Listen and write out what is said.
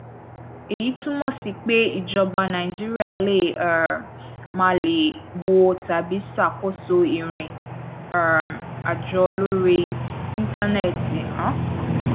èyí túmọ sí pé ìjọba nàìjíríà lè um máà lè wo tàbí ṣàkóso ìrìn um àjò orí íńtánẹẹtì um